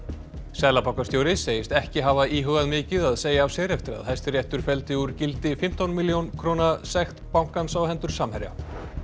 seðlabankastjóri segist ekki hafa íhugað mikið að segja af sér eftir að Hæstiréttur felldi úr gildi fimmtán milljóna króna sekt bankans á hendur Samherja